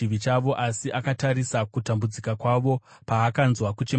Asi akatarisa kutambudzika kwavo paakanzwa kuchema kwavo;